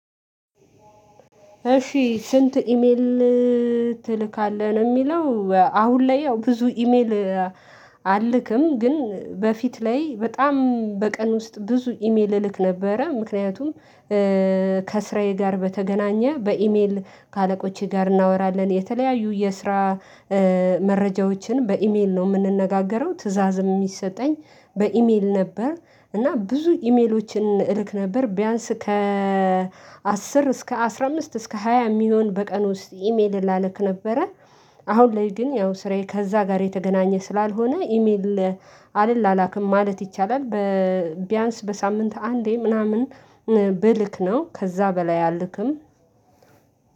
እሺ፣ ስንት ኢሜል ትልካለህ ነው የሚለው፤ አሁን ላይ ያው ብዙ ኢሜል አልልክም፤ ግን በፊት ላይ በጣም በቀን ውስጥ ብዙ ኢሜል እልክ ነበረ ምክንያቱም ከስራዬ ጋር በተገናኘ በኢሜል ከአለቆቼ ጋር እናወራለን፤ የተለያዩ የስራ መረጃዎችን በኢሜል ነው የምንነጋገረው፤ ትዕዛዝም የሚሰጠኝ በኢሜል ነበር እና ብዙ ኢሜሎችን እልክ ነበር፤ ቢያንስ ከ አስር እስከ አስራ አምስት እስከ ሃያ የሚሆን በቀን ውስጥ ኢሜል እላለክ ነበረ አሁን ላይ ግን ያው ስራዬ ከዛ ጋር የተገናኘ ስላልሆነ፤ ኢሜል አልላላክም ማለት ይቻላል በቢያንስ በሳምንት አንዴ ምናምን ብልክ ነው ከዛ በላይ አልልክም።